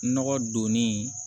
Nɔgɔ donni